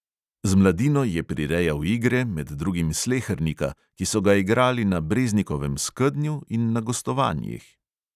Z mladino je prirejal igre, med drugim slehernika, ki so ga igrali na breznikovem skednju in na gostovanjih.